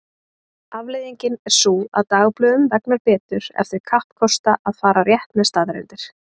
Afleiðingin er sú að dagblöðum vegnar betur ef þau kappkosta að fara rétt með staðreyndir.